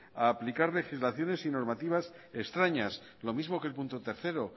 a aplicar legislaciones y normativas extrañas lo mismo que el punto tercero